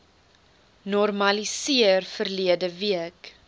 normaliseer verlede week